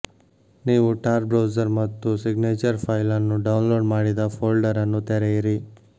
ನೀವು Tor browser ಮತ್ತು signature file ಅನ್ನು ಡೌನ್ಲೋಡ್ ಮಾಡಿದ ಫೋಲ್ಡರ್ ಅನ್ನು ತೆರೆಯಿರಿ